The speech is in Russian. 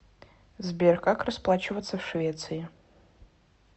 сбер как расплачиваться в швеции